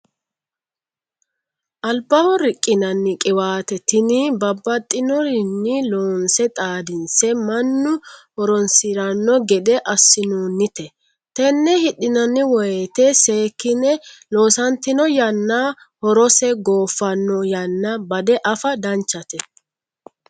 Albaho riqinanni qiwate tini babbaxxinorinni loonse xaadinse mannu horonsirano gede assinonite tene hidhinanni woyte seekkine loosatino yanna horose goofano yanna bade affa danchate.